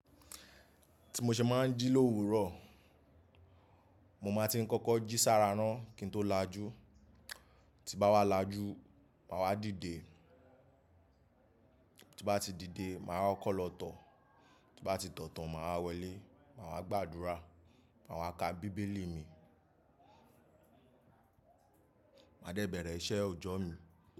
Ti mo ṣe máa ń jí l'òwúrò, mo máa ti ń kọ́kọ́ jí sára náà kí n tó lajú. Ti n bá wá lajú, màá wá dìde. Ti n bá ti dìde, màá kọ́kọ̀ lọ tọ̀. Ti n bá ti tọ̀ tan, màá wa wọlé, màá wa gbàdúrà, màá wa ka bíbélì mi, màá dẹ bẹ̀rẹ̀ iṣẹ́ òjọ́ mi.